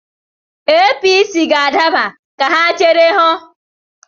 APC ga-adaba, ka ha chere hụ.